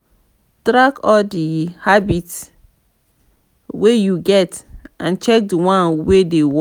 track all di habits wey you get and check di one wey dey work